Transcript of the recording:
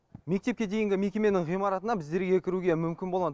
мектепке дейінгі мекеменің ғимаратына біздерге кіруге мүмкіндік болмады